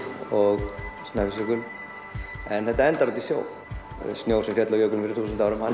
Snæfellsjökul en þetta endar út í sjó snjór sem féll á jökulinn fyrir þúsund árum hann